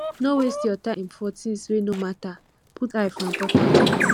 no waste your time for tins wey no matter put eye for important ones